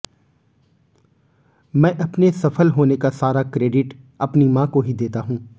मैं अपने सफल होने का सारा क्रेडिट अपनी मां को ही देता हूं